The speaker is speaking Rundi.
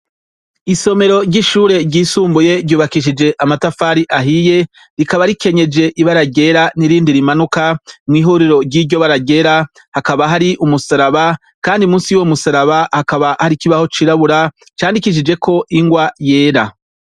Isomero ryishure ryisumbuye ryubakishije amatafari ahiye, rikaba rikenyeje ibara ryera nirindi rimanuka, mwihuriro ryiryobara ryera hakaba hakaba hari umusaraba kandi musi yuwo musaraba hakaba hari ikibaho cirabura candikishijeko ingwa yera.